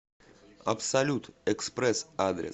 абсолют экспресс адрес